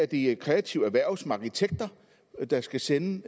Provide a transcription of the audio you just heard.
de kreative erhverv som arkitekt der skal sende